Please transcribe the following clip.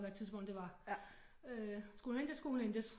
Hvad tidspunkt det var skulle hun hentes så skulle hun hentes